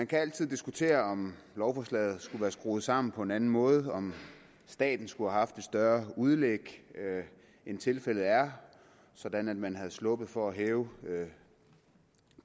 kan altid diskuteres om lovforslaget skulle være skruet sammen på en anden måde om staten skulle have haft et større udlæg end tilfældet er sådan at man var sluppet for at hæve